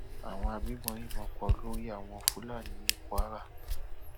àwọn agbébọn yìnbọn pa olórí àwọn fúlàní [cs[ ní kwara